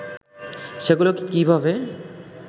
সেগুলোকে কীভাবে